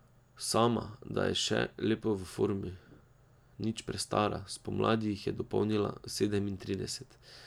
Sama da je še lepo v formi, nič prestara, spomladi jih je dopolnila sedemintrideset.